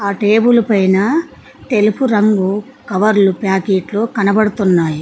ఆ టేబులు పైన తెలుపు రంగు కవర్లు ప్యాకెట్లు కనబడుతున్నాయి.